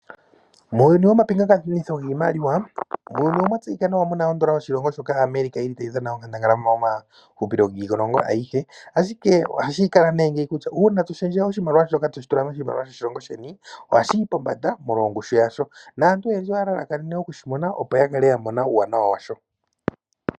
Muuyuni womapingakanitho giimaliwa, muuyuni omwa tseyika nawa mu na odola yoshilongo shoka yaAmerica ndjoka tayi dhana onkandangala momahupilo giilongo ayihe, ashike ohashi kala kutya uuna to shenge oshimaliwa shoka toshi tula moshilongo sheni ohashi yi pombanda molwa ongushu yasho. Naantu oyendji oya lalakanene okushi mona, opo ya kale ya mona uuwanawa washo.